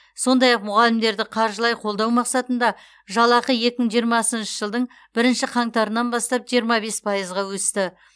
сондай ақ мұғалімдерді қаржылай қолдау мақсатында жалақы екі мың жиырмасыншы жылдың бірінші қаңтарынан бастап жиырма бес пайызға өсті